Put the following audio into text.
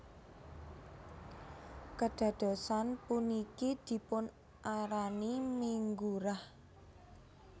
Kedadosan puniki dipun arani Minggu Rah